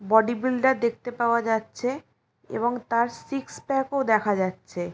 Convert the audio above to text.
Body builder দেখতে পাওয়া যাচ্ছে এবং তার সিক্স প্যাক ও দেখা যাচ্ছে।